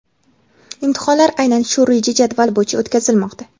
Imtihonlar aynan shu reja-jadval bo‘yicha o‘tkazilmoqda.